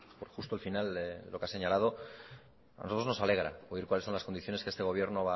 por justo el final de lo que ha señalado a nosotros nos alegra oír cuáles son las condiciones que este gobierno